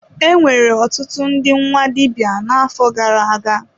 Enwere ọtụtụ ndị nwa dibịa n'afọ gara aga.